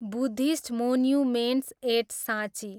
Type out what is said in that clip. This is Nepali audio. बुद्धिस्ट मोन्युमेन्ट्स एट साँची